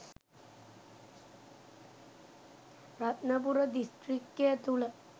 රත්නපුර දිස්ත්‍රික්කය තුළ